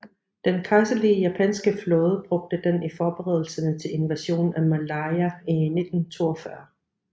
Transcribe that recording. Den kejserlige japanske flåde brugte den i forberedelserne til invasionen af Malaya i 1942